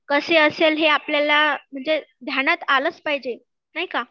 कसे असेल हे आपल्याला म्हणजे ध्यानात आलेच पाहिजे, नाही का